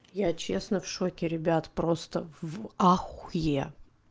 я честно в шоке ребят просто в ахуе